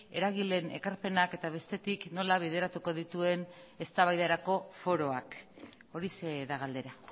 eragileen ekarpenak eta bestetik nola bideratuko dituen eztabaidarako foroak horixe da galdera